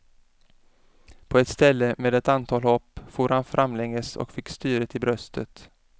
På ett ställe med ett antal hopp for han framlänges och fick styret i bröstet.